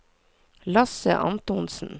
Lasse Antonsen